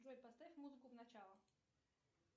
джой поставь музыку в начало